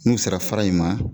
N'u sera fara in ma